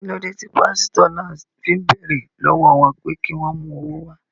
Kí ló dé tí pásítọ̀ náà fi ń béèrè lọ́wọ́ wọn pé kí wọ́n mú owó wá?